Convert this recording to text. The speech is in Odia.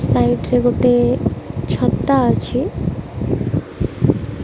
ସାଇଡ ରେ ଗୋଟେ ଛତା ଅଛି।